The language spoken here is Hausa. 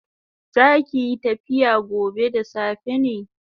Zakiyi tafiya gobe da safe ne?